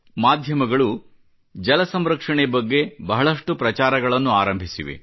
ಮಾಧ್ಯಮಗಳು ಜಲಸಂರಕ್ಷಣೆ ಬಗ್ಗೆ ಬಹಳಷ್ಟು ಪ್ರಚಾರಗಳನ್ನು ಆರಂಭಿಸಿವೆ